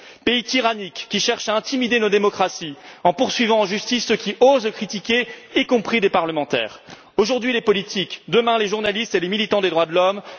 Il s'agit d'un pays tyrannique qui cherche à intimider nos démocraties en poursuivant en justice ceux qui osent le critiquer, y compris des parlementaires aujourd'hui les politiques, demain les journalistes et les militants des droits de l'homme.